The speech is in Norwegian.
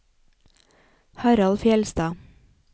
Harald Fjellstad